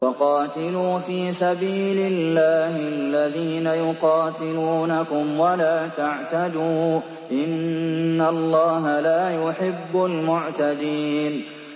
وَقَاتِلُوا فِي سَبِيلِ اللَّهِ الَّذِينَ يُقَاتِلُونَكُمْ وَلَا تَعْتَدُوا ۚ إِنَّ اللَّهَ لَا يُحِبُّ الْمُعْتَدِينَ